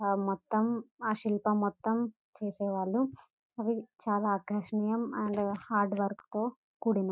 ఆ మొత్తం ఆ శిల్పం మొత్తం చేసేవాళ్ళు అవి చాలా ఆకర్షణీయం అండ్ హార్డ్ వర్క్ తో కూడినవి.